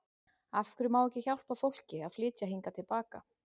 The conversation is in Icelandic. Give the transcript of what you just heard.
Af hverju má ekki hjálpa fólki að flytja hingað til baka?